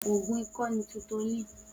Oògùn ikọ́ ni Tutolin